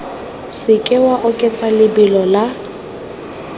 seke wa oketsa lebelo la